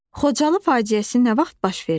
Xocalı faciəsi nə vaxt baş verib?